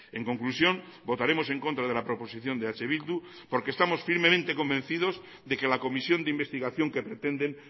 en conclusión votaremos en contra de la proposición de eh bildu porque estamos firmemente convencidos de que la comisión de investigación que pretenden